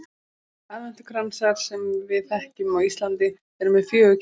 Aðventukransar sem við þekkjum á Íslandi eru með fjögur kerti.